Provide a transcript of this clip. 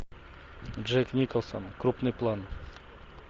джек николсон крупный план